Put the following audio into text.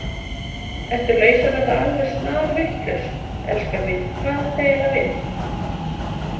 Ertu að verða alveg snarvitlaus, elskan mín, hvað áttu eiginlega við?